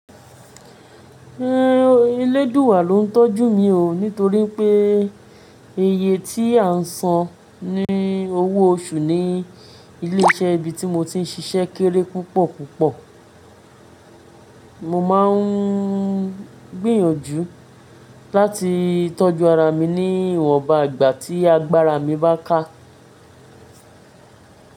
Elédùúwà ló ń tọ́jú mi o, nítorí pé iye tí à ń san ní owó oṣù ní ilé iṣẹ́ ibi tí mo ti ń ṣiṣẹ́ kéré púpọ̀ púpọ̀. Mo má ń gbìyànjú láti tọ́jú ara mi ní ìwọ̀nba ìgbà tí agbára mi bá ká.